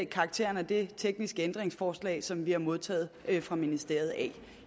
karakteren af det tekniske ændringsforslag som vi har modtaget fra ministeriet af